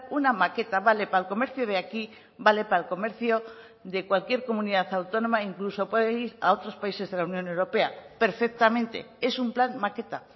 una maqueta vale para el comercio de aquí vale para el comercio de cualquier comunidad autónoma incluso puede ir a otros países de la unión europea perfectamente es un plan maqueta